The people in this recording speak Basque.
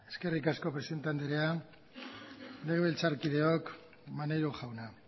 eskerrik asko presidente andrea legebiltzarkideok maneiro jauna